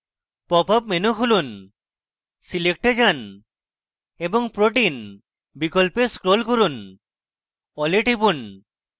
popup menu খুলুন select এ যান এবং protein বিকল্পে scroll করুন all এ টিপুন